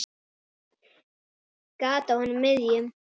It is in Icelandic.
Gat á honum miðjum.